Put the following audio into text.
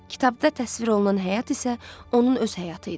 Kitabda təsvir olunan həyat isə onun öz həyatı idi.